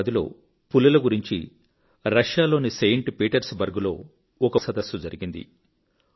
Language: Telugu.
2010 లో పులుల గురించి రష్యాలోని సెయింట్ పీటర్స్ బర్గ్ లో ఒక పులుల సదస్సు జరిగింది